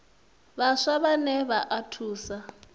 vhaswa vhane vha o thusa